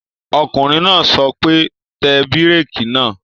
Ọkùnrin náà sọ pé, Tẹ bírèkì náà!